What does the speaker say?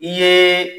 I ye